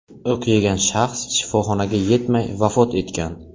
O‘q yegan shaxs shifoxonaga yetmay, vafot etgan.